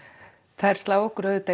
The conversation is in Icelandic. þær slá okkur